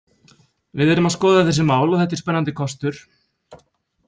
Við erum að skoða þessi mál og þetta er spennandi kostur.